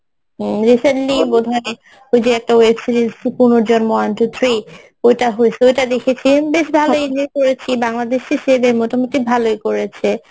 হম recently বোধহয় ওই যে একটা web series Punorjonmo one two three ওইটা হইছে ওইটা দেখেছেন বেশ ভালই পড়েছি বাংলাদেশ ভালই করেছে